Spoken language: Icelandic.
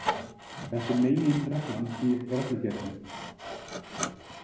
Þetta er meginreglan í reglugerðinni.